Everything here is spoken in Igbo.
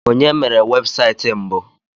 Onye mere webụsaịtị mbụ?